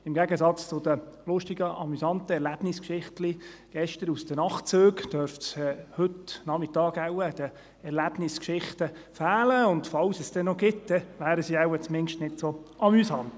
Im Gegensatz zu den lustigen, amüsanten Erlebnisgeschichtchen gestern aus den Nachtzügen, dürfte es heute Nachmittag wohl an den Erlebnisgeschichten fehlen, und falls es dann noch welche gibt, wären sie dann wohl zumindest nicht so amüsant.